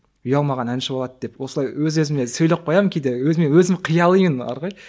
ұялмаған әнші болады деп осылай өз өзіме сөйлеп қоямын кейде өзі мен өзім қиялимын бар ғой